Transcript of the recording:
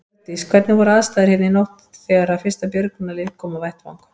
Hjördís: Hvernig voru aðstæður hérna í nótt þegar að fyrsta björgunarlið kom á vettvang?